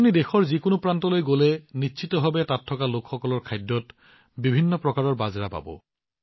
আপুনি দেশৰ যিকোনো প্ৰান্তলৈ যাওক আপুনি নিশ্চিতভাৱে তাত থকা লোকসকলৰ খাদ্য আৰু পানীয়ত বিভিন্ন প্ৰকাৰৰ বাজৰা পাব